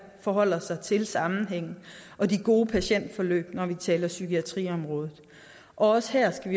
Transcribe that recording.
forholder sig til sammenhængen og det gode patientforløb når vi taler om psykiatriområdet også her skal